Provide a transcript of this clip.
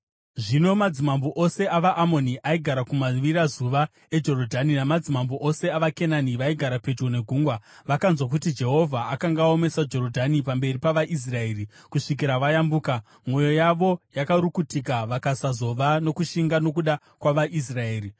Zvino madzimambo ose avaAmoni aigara kumavirazuva eJorodhani namadzimambo ose avaKenani vaigara pedyo negungwa vakanzwa kuti Jehovha akanga aomesa Jorodhani pamberi pavaIsraeri kusvikira vayambuka, mwoyo yavo yakarukutika vakasazova nokushinga nokuda kwavaIsraeri.